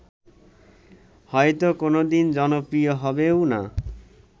হয়ত কোনদিন জনপ্রিয় হবেও না